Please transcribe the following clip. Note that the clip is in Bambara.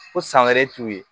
Ko san wɛrɛ t'u ye